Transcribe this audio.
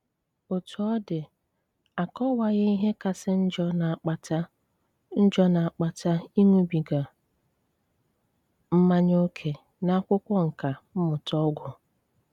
Otú ọ̀ dị, à kọwàghị ìhé kàsí njọ́ na-àkpàtá njọ́ na-àkpàtá ị̀ṅụ́bígà mmànyà ókè n'akwụ́kwọ nkà mmụ̀tá ọgwụ.